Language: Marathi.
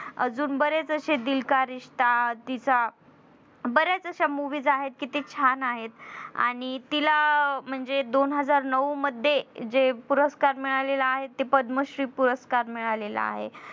अजून बरेच अशे दिल का रिश्ता तिचा बऱ्याच अश्या movies आहेत कि त्या छान आहेत. आणि तिला म्हणजे दोन हजार नौ मध्ये जे पुरस्कार मिळाले आहेत ते पद्मश्री पुरस्कार मिळाला आहे.